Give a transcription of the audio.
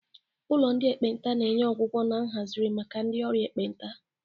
Ụlọ ndị ekpenta na-enye ọgwụgwọ na nhazigharị maka ndị ọrịa ekpenta.